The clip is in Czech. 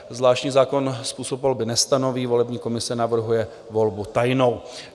Zvláštní zákon způsob volby nestanoví, volební komise navrhuje volbu tajnou.